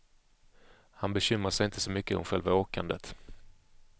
Han bekymrar sig inte så mycket om själva åkandet.